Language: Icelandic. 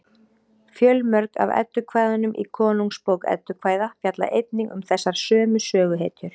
fjölmörg af eddukvæðunum í konungsbók eddukvæða fjalla einnig um þessar sömu söguhetjur